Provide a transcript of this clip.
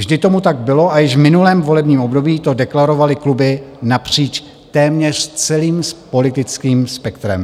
Vždy tomu tak bylo a již v minulém volebním období to deklarovaly kluby napříč téměř celým politickým spektrem.